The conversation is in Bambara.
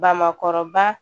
Bamakɔrɔba